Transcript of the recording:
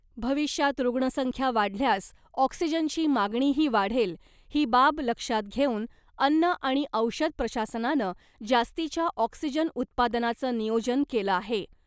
भविष्यात रूग्णसंख्या वाढल्यास ऑक्सिजनची मागणीही वाढेल , ही बाब लक्षात घेऊन अन्न आणि औषध प्रशासनानं जास्तीच्या ऑक्सिजन उत्पादनाचं नियोजन केलं आहे .